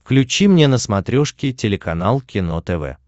включи мне на смотрешке телеканал кино тв